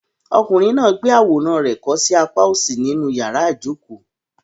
Ọkùnrin náà gbé àwòrán rẹ̀ kọ́ sí apá òsì ní inú yàrá ìjokòó.